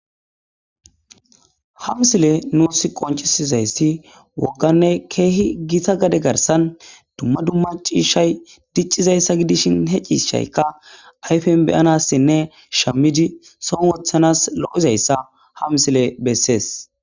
hamsile nuus qoncisizayssi wogganne keehi giita gade garsan dumma dumma ciishay diccizayssa gidishin he ciishaykka ayfen beyanassinne shamidi son wothanas lo7izayssa hamsile bessees